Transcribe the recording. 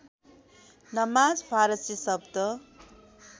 नमाज फारसी शब्द